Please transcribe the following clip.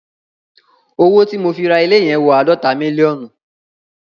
Owó tí mo fi ra ilé yẹn wọn àádọ́ta mílíọ̀nù.